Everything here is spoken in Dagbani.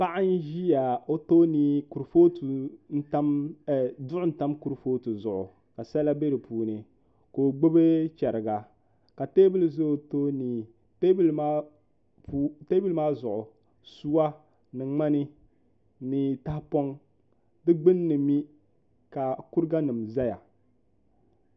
Paɣ n ʒia ka o tooni ka duɣu tam kuri footi zuɣu ka sala bɛ dipuuni ka o gbubi chɛrigia ka tɛɛbuli ʒi o toori teebuli maa zuɣu suwa ni ŋmani ni taha pɔŋ di gbunni mi ka kuriganim ʒɛya